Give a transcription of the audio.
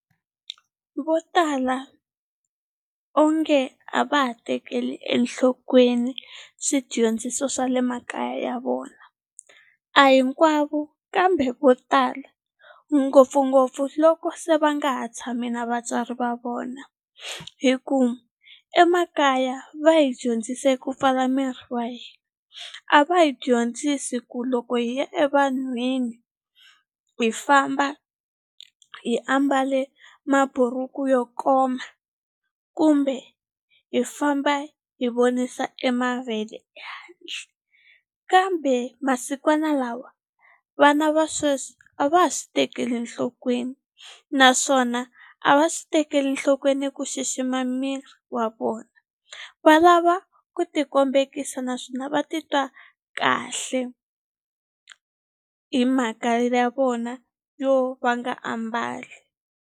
Vo tala onge a va ha tekeli enhlokweni swidyondziso swa le makaya ya vona a hinkwavo kambe vo tala ngopfungopfu loko se va nga ha tshami na vatswari va vona hi ku emakaya va hi dyondzise ku pfala miri wa hina a va hi dyondzisi ku loko hi ya evanhwini hi famba hi ambale maburuku yo koma kumbe hi famba hi vonisa e mavele kambe masikwana lawa vana va sweswi a va ha swi tekeli enhlokweni naswona a va swi tekeli nhlokweni ku xixima miri wa vona va lava ku ti kombekisa naswona va titwa kahle hi mhaka ya vona yo va nga ambali.